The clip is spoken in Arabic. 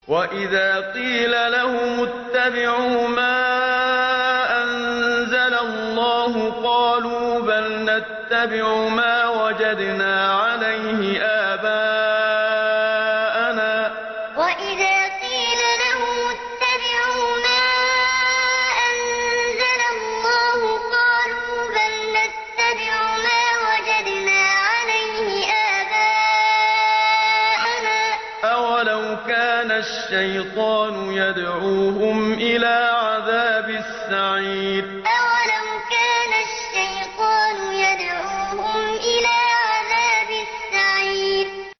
وَإِذَا قِيلَ لَهُمُ اتَّبِعُوا مَا أَنزَلَ اللَّهُ قَالُوا بَلْ نَتَّبِعُ مَا وَجَدْنَا عَلَيْهِ آبَاءَنَا ۚ أَوَلَوْ كَانَ الشَّيْطَانُ يَدْعُوهُمْ إِلَىٰ عَذَابِ السَّعِيرِ وَإِذَا قِيلَ لَهُمُ اتَّبِعُوا مَا أَنزَلَ اللَّهُ قَالُوا بَلْ نَتَّبِعُ مَا وَجَدْنَا عَلَيْهِ آبَاءَنَا ۚ أَوَلَوْ كَانَ الشَّيْطَانُ يَدْعُوهُمْ إِلَىٰ عَذَابِ السَّعِيرِ